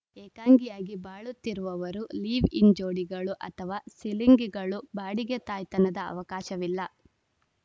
ಏಕಾಂಗಿಯಾಗಿ ಬಾಳುತ್ತಿರುವವರು ಲಿವ್‌ಇನ್‌ ಜೋಡಿಗಳು ಅಥವಾ ಸಿಲಿಂಗಿಗಳು ಬಾಡಿಗೆ ತಾಯ್ತನದ ಅವಕಾಶವಿಲ್ಲ